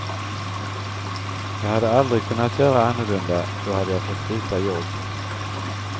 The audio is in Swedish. Jag hade aldrig kunnat göra annorlunda, då hade jag fått byta jobb.